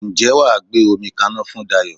Ǹjẹ́ wà á gbé omi kaná fún Dayọ̀?